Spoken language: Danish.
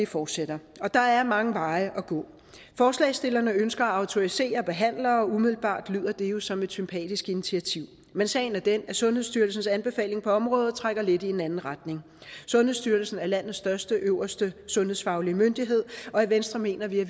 forsætter og der er mange veje at gå forslagsstillerne ønsker at autorisere behandlere og umiddelbart lyder det jo som et sympatisk initiativ men sagen er den at sundhedsstyrelsens anbefaling på området trækker lidt i en anden retning sundhedsstyrelsen er landets største og øverste sundhedsfaglige myndighed og i venstre mener vi at